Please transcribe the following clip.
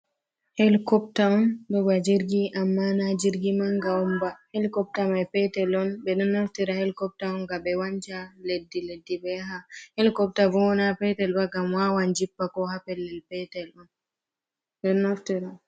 Helikopta on, ɗon ba jirgi amma na jirgi mannga on ba, helikopta may peetel on. Ɓe ɗon naftira helikopta on, ngam ɓe wanja leddi leddi ɓe yaha. Helikopta bo naa peetel ba, ngam waawan jippa, ko haa pellel peetel.